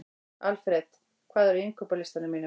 Alfred, hvað er á innkaupalistanum mínum?